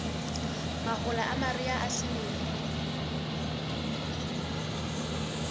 mahola a mariha a selemo